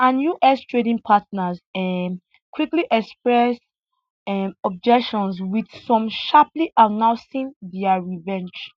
and us trading partners um quickly express um objections wit some sharply announcing dia revenge